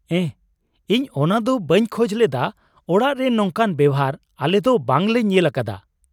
ᱮᱦ, ᱤᱧ ᱚᱱᱟ ᱫᱚ ᱵᱟᱹᱧ ᱠᱷᱚᱡ ᱞᱮᱫᱟ ᱾ ᱚᱲᱟᱜ ᱨᱮ ᱱᱚᱝᱠᱟᱱ ᱵᱮᱣᱦᱟᱨ ᱟᱞᱮ ᱫᱚ ᱵᱟᱝ ᱞᱮ ᱧᱮᱞ ᱟᱠᱟᱫᱟ ᱾